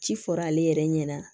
Ci fɔra ale yɛrɛ ɲɛna